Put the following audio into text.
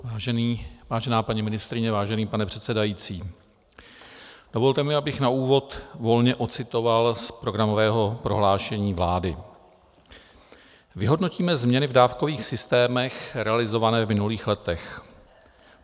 Vážená paní ministryně, vážený pane předsedající, dovolte mi, abych na úvod volně odcitoval z programového prohlášení vlády: Vyhodnotíme změny v dávkových systémech realizované v minulých letech.